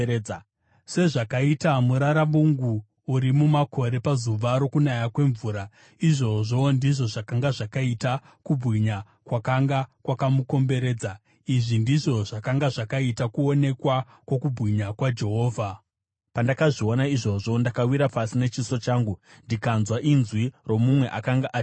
Sezvakaita muraravungu uri mumakore pazuva rokunaya kwemvura, izvozvo, ndizvo zvakanga zvakaita kubwinya kwakanga kwakamukomberedza. Izvi ndizvo zvakanga zvakaita kuonekwa kwokubwinya kwaJehovha. Pandakazviona izvozvo, ndakawira pasi nechiso changu, ndikanzwa inzwi romumwe akanga achitaura.